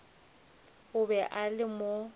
o be a le mo